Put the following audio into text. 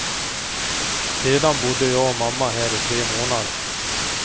Sedan bodde jag och mamma här i tre månader.